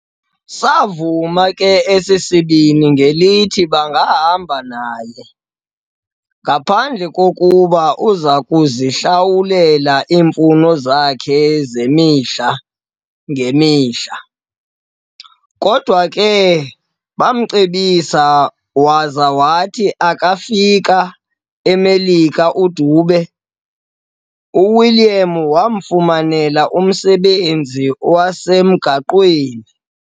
Saavuma ke esi sibini ngelithi bangahamba naye, ngaphandle kokuba uzakuzihlawulela iimfuno zakhe zemihla-ngemihla. Kodwa ke baamcebisa, waza wathi akufika eMelika uDube, uWilliam wamfumanela umsebenzi wasemgaqweni.